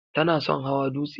Ta na son hawa dutse.